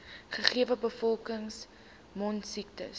gegewe bevolking mondsiektes